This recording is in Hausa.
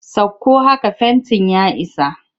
Sakko haka fentin ya isa!